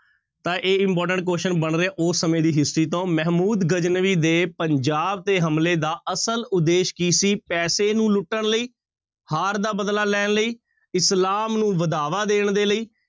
ਤਾਂ ਇਹ important question ਬਣ ਰਿਹਾ ਉਹ ਸਮੇਂ ਦੀ history ਤੋਂ ਮਹਿਮੂਦ ਗਜਨਵੀ ਦੇ ਪੰਜਾਬ ਤੇ ਹਮਲੇ ਦਾ ਅਸਲ ਉਦੇਸ਼ ਕੀ ਸੀ ਪੈਸੇ ਨੂੰ ਲੁੱਟਣ ਲਈ, ਹਾਰ ਦਾ ਬਦਲਾ ਲੈਣ ਲਈ, ਇਸਲਾਮ ਨੂੰ ਵਧਾਵਾ ਦੇਣ ਦੇ ਲਈ